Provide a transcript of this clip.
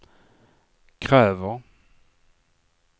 kräver